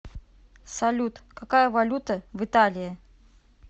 салют какая валюта в италии